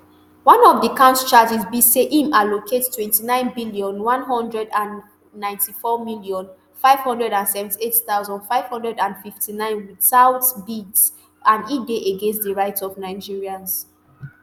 one of di count charges be say im allocate twenty-nine billion, one hundred and ninety-four million, five hundred and seventy-eight thousand, five hundred and fifty-nine witout bids and e dey against di rights of nigerians